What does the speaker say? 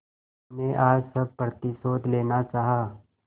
तुमने आज सब प्रतिशोध लेना चाहा